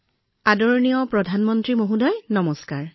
আদৰণীয় প্ৰধানমন্ত্ৰী মহোদয় নমস্কাৰ